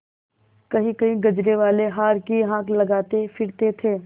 कहींकहीं गजरेवाले हार की हाँक लगाते फिरते थे